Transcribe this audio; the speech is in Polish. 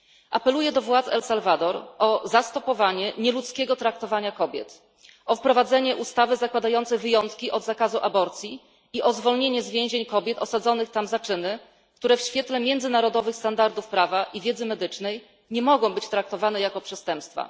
Apeluję do władz Salwadoru o zastopowanie nieludzkiego traktowania kobiet, o wprowadzenie ustawy przewidującej wyjątki od zakazu aborcji i o zwolnienie z więzień kobiet osadzonych tam za czyny, które w świetle międzynarodowych standardów prawa i wiedzy medycznej nie mogą być traktowane jako przestępstwa.